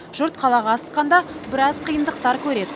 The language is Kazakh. жұрт қалаға асыққанда біраз қиындықтар көреді